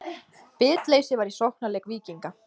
Bitleysi var í sóknarleik Víkinga.